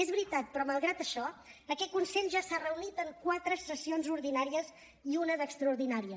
és veritat però malgrat això aquest consell ja s’ha reunit en quatre sessions ordinàries i una d’extraordinària